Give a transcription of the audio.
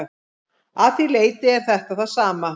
Að því leyti er þetta það sama.